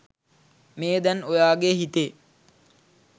මේ දැන් ඔයාගෙ හිතේ